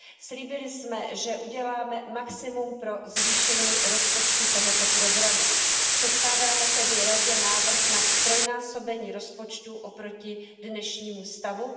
Slíbili jsme, že uděláme maximum pro zvýšení rozpočtu tohoto programu. Předkládáme tedy Radě návrh na ztrojnásobení rozpočtu oproti dnešnímu stavu.